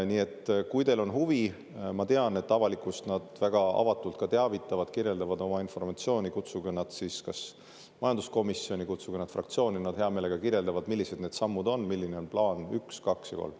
Nii et kui teil on huvi – ma tean, et avalikkust nad väga avatult ka teavitavad, kirjeldavad oma informatsiooni –, siis kutsuge nad kas majanduskomisjoni või kutsuge nad fraktsiooni, nad hea meelega kirjeldavad, millised need sammud on, milline on plaan üks, kaks ja kolm.